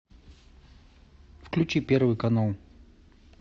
включи первый канал